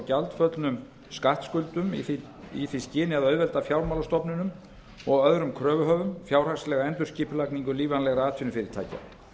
gjaldföllnum skattskuldum í því skyni að auðvelda fjármálastofnunum og öðrum kröfuhöfum fjárhagslega endurskipulagningu lífvænlegra atvinnufyrirtækja